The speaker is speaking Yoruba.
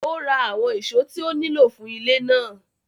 Ó ra àwọn ìṣó tí ó nílò fún ilé náà.